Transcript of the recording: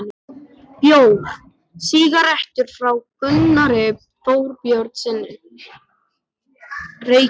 Bjór, sígarettur, frá Gunnari Þorbjörnssyni, Reykjavík.